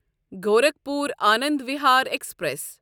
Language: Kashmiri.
گورکھپور آنند وِہار ایکسپریس